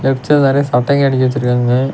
Left சைடுல நெறைய சட்டைங்க அடுக்கி வச்சுருக்காங்க.